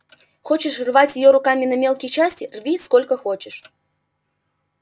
хочешь рвать её руками на мелкие части рви сколько хочешь